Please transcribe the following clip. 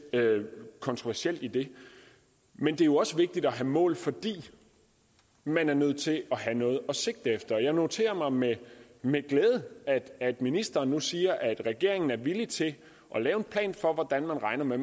kontroversielt i det men det er jo også vigtigt at have mål fordi man er nødt til have noget at sigte efter jeg noterer mig med med glæde at ministeren nu siger at regeringen er villig til at lave en plan for hvordan man regner med